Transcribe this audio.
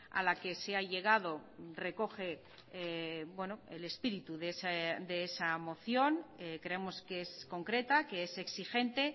a la que se ha llegado recoge el espíritu de esa moción creemos que es concreta que es exigente